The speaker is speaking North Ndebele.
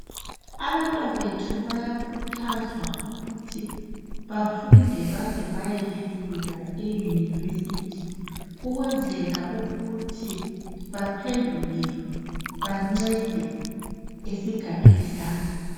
Abantwa bethu bayakhuthazwa ukuthi bafunde baze bayefika eYunivesi ukwenzela ukuthi baphenduke bancede esigabeni sabo.